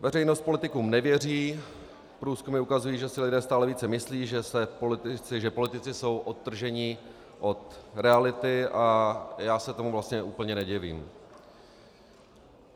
Veřejnost politikům nevěří, průzkumy ukazují, že si lidé stále více myslí, že politici jsou odtrženi od reality, a já se tomu vlastně úplně nedivím.